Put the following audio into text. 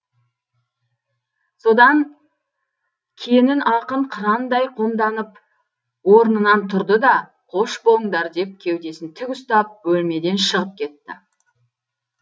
содан кенін ақын қырандай қомданып орнынан тұрды да қош болыңдар деп кеудесін тік ұстап бөлмеден шығып кетті